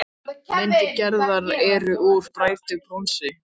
Myndir Gerðar eru úr bræddu bronsi.